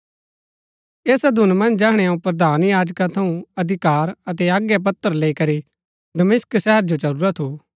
ऐसा धूना मन्ज जैहणै अऊँ प्रधान याजका थऊँ अधिकार अतै आज्ञा पत्र लैई करी दमिश्क शहर जो चलुरा थु